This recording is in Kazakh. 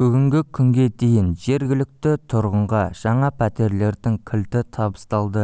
бүгінгі күнге дейін жергілікті тұрғынғажаңа пәтерлердің кілті табысталды